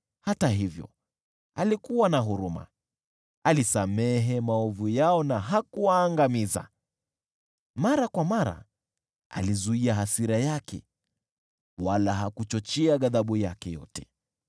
Hata hivyo alikuwa na huruma, alisamehe maovu yao na hakuwaangamiza. Mara kwa mara alizuia hasira yake, wala hakuchochea ghadhabu yake yote.